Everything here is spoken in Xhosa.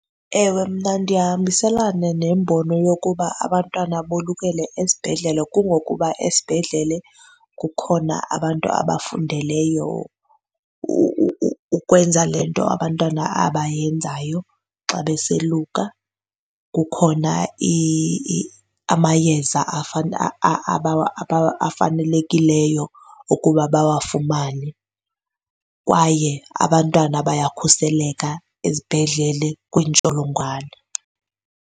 Ewe, mna ndiyahambiselana nembono yokuba abantwana bolukele esibhedlele kungokuba esibhedlele kukhona abantu abafundeleyo ukwenza le nto abantwana abayenzayo xa besoluka. Kukhona amayeza afanelekileyo okuba bawafumane kwaye abantwana bayakhuseleka ezibhedlele kwiintsholongwane.